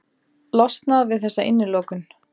Losnað við þessa innilokun.